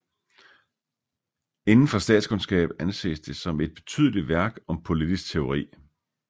Indenfor statskundskab anses det som et betydelig værk om politisk teori